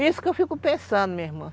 Isso que eu fico pensando, minha irmã.